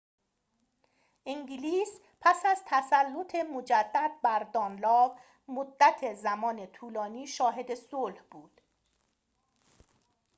انگلیس پس از تسلط مجدد بر دانلاو مدت زمان طولانی شاهد صلح بود